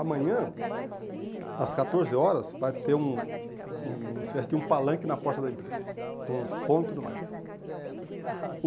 Amanhã, às catorze horas, vai ter um uma espécie de um palanque na porta da empresa, com som e tudo mais.